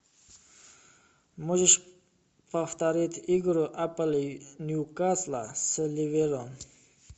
можешь повторить игру апл ньюкасла с ливером